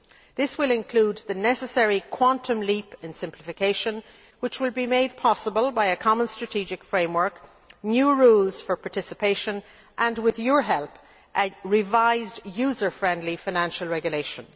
This will include the necessary quantum leap in simplification, which will be made possible by a common strategic framework, new rules for participation and with your help a revised user friendly Financial Regulation.